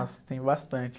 tem bastante.